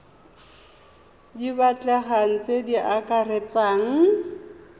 di batlegang tse di akaretsang